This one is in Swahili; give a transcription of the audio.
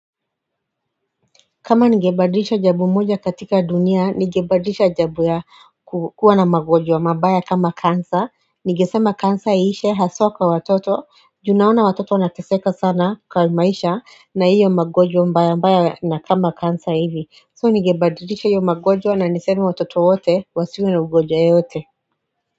Kama ningebadrisha jabu mmoja katika dunia nigebadrisha jabu ya kukuwa na magojwa mabaya kama kansa nigesema kansa ishe haswa kwa watoto junaona watoto wanataseka sana kwa maisha na iyo magojo mbaya mbaya na kama kansa hivi so nigebadrisha yyo magonjwa na niseme watoto wote wasiwe na ugojwa yoyote.